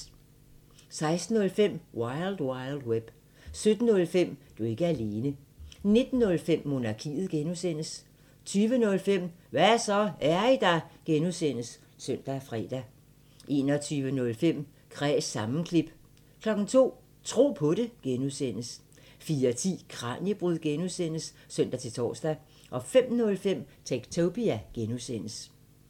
16:05: Wild Wild Web 17:05: Du er ikke alene 19:05: Monarkiet (G) 20:05: Hva' så, er I der? (G) (søn og fre) 21:05: Kræs sammenklip 02:00: Tro på det (G) 04:10: Kraniebrud (G) (søn-tor) 05:05: Techtopia (G)